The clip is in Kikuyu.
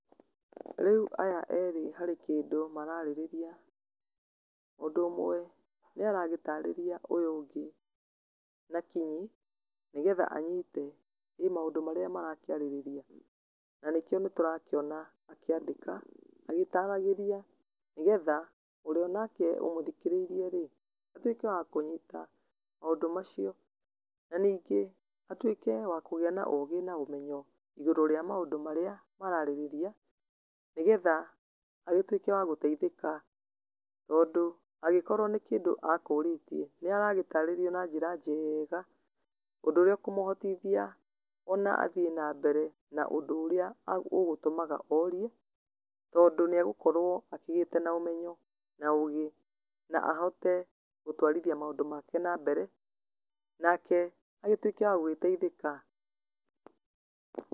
Rĩu aya erĩ harĩ kĩndũ mararĩrĩria. Mũndũ ũmwe nĩaragĩtarĩria ũyũ ũngĩ na kinyi nĩgetha anyite ĩ maũndũ marĩa marakĩarĩrĩria. Na nĩkĩo nĩtũrakĩona akĩandĩka agĩtaragĩria nĩgetha ũrĩa onake ũmũthikĩrĩirie-rĩ atuĩke wa kũnyita maũndũ macio, na ningĩ atuĩke wa kũgĩa na ũgĩ na ũmenyo igũrũ rĩa maũndũ marĩa mararĩrĩria, nĩgetha agĩtuĩke wa gũteithĩka tondũ agĩkorwo nĩ kĩndũ akũũrĩtie nĩaragĩtarĩrio na njĩra njega, ũndũ ũrĩa ũkũmũhotithia ona athiĩ nambere na ũndũ ũrĩa agũ, ũgũtũmaga orie tondũ nĩagũkorwo akĩgĩĩte na ũmenyo na ũgĩ, na ahote gũtwarithia maũndũ make nambere, nake agĩtuĩke wa gũgĩteithĩka.